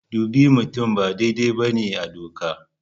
Dubi mutum ba daidai ba ne a doka.